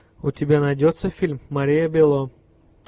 у тебя найдется фильм мария бело